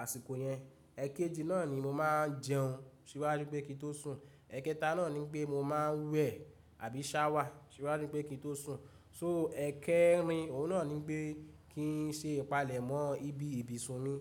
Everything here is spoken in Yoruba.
àsìkò yẹn. Ẹ̀kéjì náà ni mo máa n jẹun síwájú pé kí n tó sùn. Ẹ̀kẹta náà ní pé mo máa n wẹ̀ àbí ṣáwà síwájú pé kí n tó sùn. So ẹ̀kẹrin, òun náà ní pé kí n se ìpalẹ̀mọ́ ibi ìbì sun mi